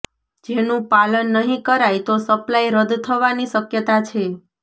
જેનું પાલન નહીં કરાય તો સપ્લાય રદ થવાની શક્યતા છે